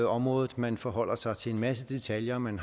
området man forholder sig til en masse detaljer og man